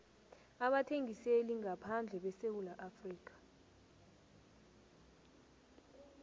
abathengiselingaphandle besewula afrika